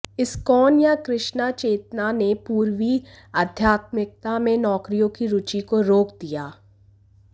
ISKCON या कृष्णा चेतना ने पूर्वी आध्यात्मिकता में नौकरियों की रुचि को रोक दिया